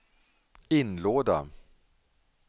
inlåda